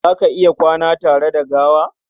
Za ka iya kwana tare da gawa?